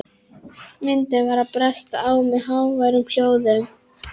Myndin var að bresta á með háværum hljóðum.